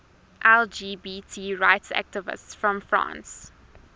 lgbt rights activists from france